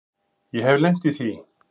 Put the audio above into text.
Ég hef lent í því.